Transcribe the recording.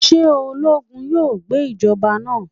Ṣe ologun yoo gba ijọba naa?